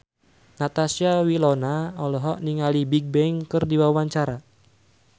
Natasha Wilona olohok ningali Bigbang keur diwawancara